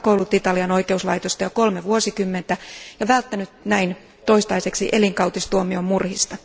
Hän on pakoillut Italian oikeuslaitosta jo kolme vuosikymmentä ja välttänyt siten toistaiseksi elinkautistuomion murhista.